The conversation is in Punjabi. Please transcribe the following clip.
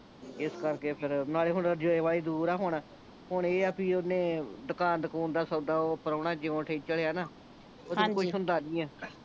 ਇਸ ਕਰਕੇ ਫੇਰ ਨਾਲੇ ਹੁਣ ਜੇ ਬਾਹਲੀ ਦੂਰ ਆ ਹੁਣ ਹੁਣ ਇਹ ਆ ਬੀ ਓਹਨੇ ਦੁਕਾਨ ਦਕੁਨ ਦਾ ਓਹ ਪ੍ਰਾਹੁਣਾ ਜਿਓ ਆ ਨਾਂ ਉਹਦੇ ਕੋਲੋਂ ਕੁਛ ਹੁੰਦਾ ਨਹੀਂ ਆ